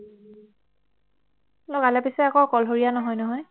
পিছে অকলশৰীয়া নহয় নহয়